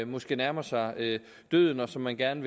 måske nærmer sig døden og som man gerne